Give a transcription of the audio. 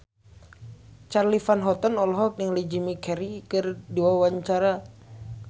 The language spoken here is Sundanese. Charly Van Houten olohok ningali Jim Carey keur diwawancara